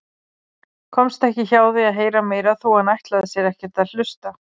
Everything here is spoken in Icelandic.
Komst ekki hjá því að heyra meira þó að hann ætlaði sér ekkert að hlusta.